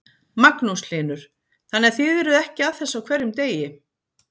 Magnús Hlynur: þannig að þið eruð ekki að þessu á hverjum degi?